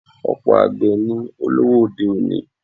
Ọ̀pọ̀ àgbè ni olówó òde-òní.